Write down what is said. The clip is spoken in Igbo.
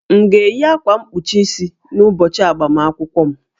M ga-eyi akwa mkpuchi isi n'ụbọchị agbamakwụkwọ m?